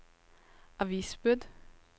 avisbud